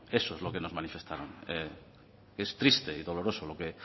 eso es lo que nos manifestaron que es triste y doloroso lo que